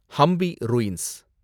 Hampi ruins